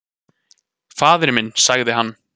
"""Faðir minn, sagði hann."""